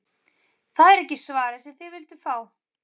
Það er ekki svarið sem þið vilduð fá.